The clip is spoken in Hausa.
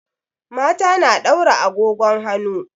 Mata na daura agogon hanu.